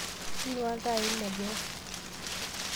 Inuaa iltaai le boo